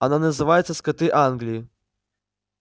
она называется скоты англии